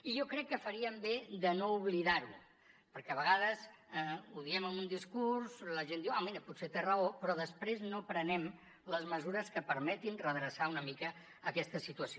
i jo crec que faríem bé de no oblidar ho perquè a vegades ho diem en un discurs la gent diu ah mira potser té raó però després no prenem les mesures que permetin redreçar una mica aquesta situació